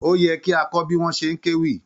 Ó yẹ kí a kọ́ bí wọ́n ṣe ń kéwì.